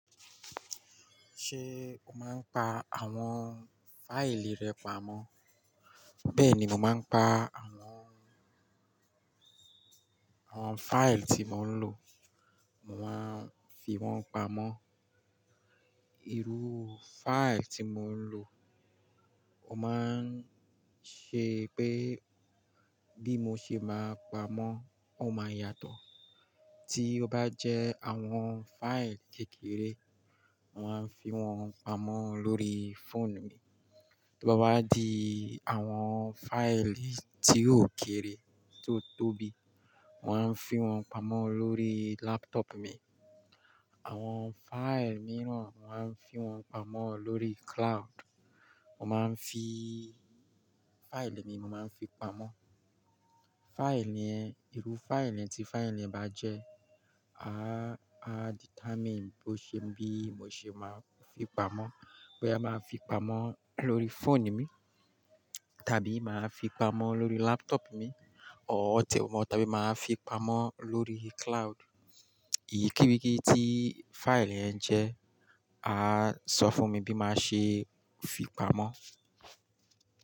Ṣé o máa ń pa àwọn fáìlì rẹ pamọ́? Bẹ́ẹ̀ni, mo máa ń pa àwọn, àwọn fáìlì tí mò ń lò, mò ń fi wọ́n pamọ́. Iru fáìlì tí mò ń lò, o máa ń ṣe pé bí mo ṣe máa pamọ́ ó máa yàtọ̀. Tí ó bá jẹ́ àwọn fáìlì kékeré, mò ń fi wọ́n pamọ́ lórí fóònù mi. Bí ó bá di àwọn fáìlì tí ó kéré tó tóbi, mò ń fi wọ́n pamọ́ lórí laptop mi. Àwọn fáìlì mìíràn mò ń fi wọ́n pamọ́ lórí cloud. Mo máa ń fi fáìlì mi, mo máa ń fi pamọ́. Fáìlì ẹ, irú fáìlì ẹ tí fáìlì ẹ bá jẹ́, a á determine bó ṣe bí mo ṣe máa fi pamọ́. Bó yá máa fi pamọ́ lórí fóònù mi, tàbí màá fi pamọ́ lórí laptop mi, ọ̀tẹ̀ wọ́n tàbí màá fi pamọ́ lórí cloud. Ìyí kiwí kí tí fáìlì ẹ ń jẹ́, a á sọ fún mi bí màá ṣe fi pamọ́.